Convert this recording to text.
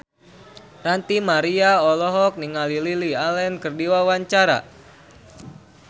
Ranty Maria olohok ningali Lily Allen keur diwawancara